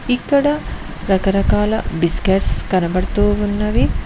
ఇక్కడ రకరకాల బిస్కెట్స్ కనబడుతూ ఉన్నవి.